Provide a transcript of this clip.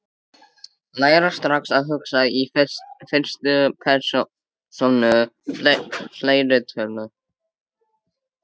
Læra strax að hugsa í fyrstu persónu fleirtölu